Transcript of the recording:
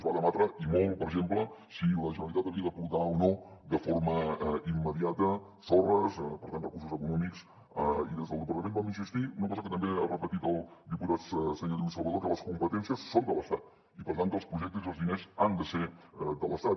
es va debatre i molt per exemple si la generalitat havia d’aportar o no de forma immediata sorres per tant recursos econòmics i des del departament vam insistir una cosa que també ha repetit el diputat senyor lluís salvadó que les competències són de l’estat i per tant que els projectes i els diners han de ser de l’estat